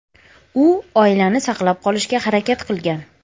U oilani saqlab qolishga harakat qilgan.